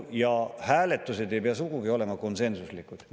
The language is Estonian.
Ja hääletused ei pea sugugi olema konsensuslikud.